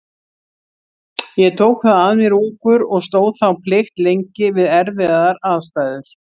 Ég tók það að mér ungur og stóð þá plikt lengi við erfiðar aðstæður.